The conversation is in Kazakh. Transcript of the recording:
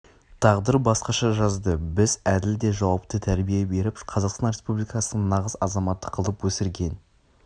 тағдыр басқаша жазды біз әділ де жауапты тәрбие беріп қазақстан республикасының нағыз азаматы қылып өсірген